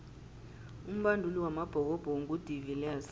umbanduli wamabhokobhoko ngu de viliers